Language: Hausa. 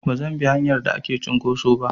Bazan bi hanyar da ake cinƙoso ba.